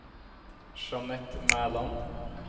Jeanette Mæland